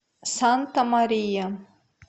санта мария